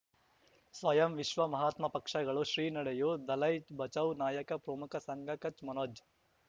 ಸ್ವಯಂ ವಿಶ್ವ ಮಹಾತ್ಮ ಪಕ್ಷಗಳು ಶ್ರೀ ನಡೆಯೂ ದಲೈ ಬಚೌ ನಾಯಕ ಪ್ರಮುಖ ಸಂಘ ಕಚ್ ಮನೋಜ್